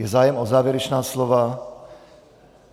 Je zájem o závěrečná slova?